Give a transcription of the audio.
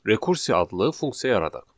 Rekursiya adlı funksiya yaradaq.